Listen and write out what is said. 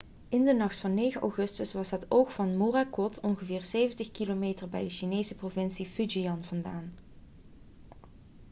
in de nacht van 9 augustus was het oog van morakot ongeveer 70 km bij de chinese provincie fujian vandaan